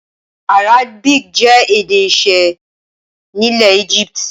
Arabic jẹ́ èdè iṣẹ́ nílẹ̀ Egypt.